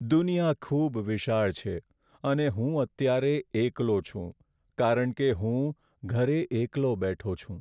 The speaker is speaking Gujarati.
દુનિયા ખૂબ વિશાળ છે અને હું અત્યારે એકલો છું કારણ કે હું ઘરે એકલો બેઠો છું.